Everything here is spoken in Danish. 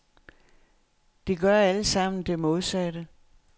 De gør alle sammen det modsatte.